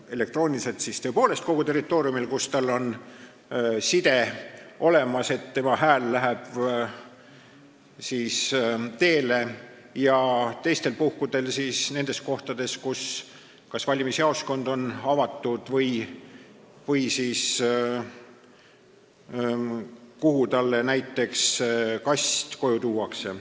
Elektrooniliselt võib selle anda tõepoolest kogu territooriumil, kus on side olemas, nii et tema hääl läheb teele, ja teistel puhkudel nendes kohtades, kus on valimisjaoskond avatud, või oma kodus, kui talle näiteks kast koju tuuakse.